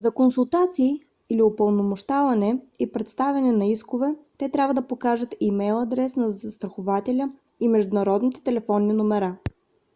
за консултации/упълномощаване и предявяване на искове те трябва да покажат имейл адреса на застрахователя и международните телефонни номера